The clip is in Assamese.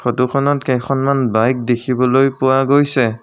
ফটোখনত কেখনমান বাইক দেখিবলৈ পোৱা গৈছে।